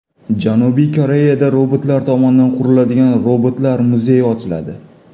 Janubiy Koreyada robotlar tomonidan quriladigan robotlar muzeyi ochiladi.